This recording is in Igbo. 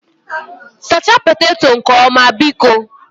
Sachaa poteto nke ọma, biko